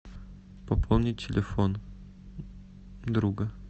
пополнить телефон друга